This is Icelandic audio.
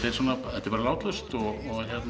þetta er bara látlaust og